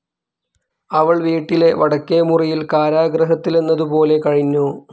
അവൾ വീട്ടീലെ വടക്കേ മുറിയിൽ കാരാഗ്രഹത്തിലെന്നതുപോലെ കഴിഞ്ഞു.